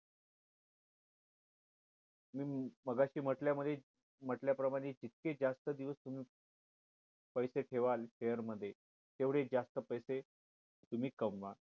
हम्म मगाशी म्हंटल्या मध्ये म्हंटल्या प्रमाणे जितके जास्त दिवस तुम्ही पैसे ठेवलं share मध्ये तेवढे जास्त पैसे तुम्ही कमवाल